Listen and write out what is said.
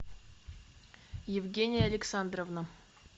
евгения александровна